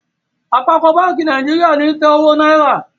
Àpapọ bánkì Nàìjíríà ní tè owó náírà.